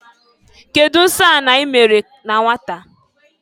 Kedụ nsọ anị ị mere na nwata?